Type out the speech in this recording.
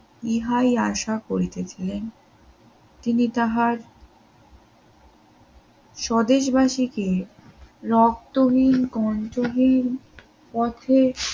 ইহাই আশা করিতেছিলেন তিনি তাহার স্বদেশবাসীকে রক্তহীন কণ্ঠহীন পথে